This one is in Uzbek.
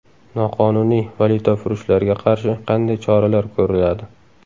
Noqonuniy valyutafurushlarga qarshi qanday choralar ko‘riladi?